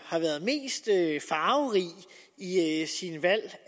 har været mest farverig i i sine valg